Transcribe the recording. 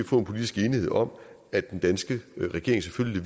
få en politisk enighed om at den danske regering selvfølgelig